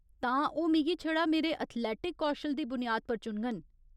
तां, ओह् मिगी छड़ा मेरे एथलेटिक कौशल दी बुनियाद पर चुनङन ?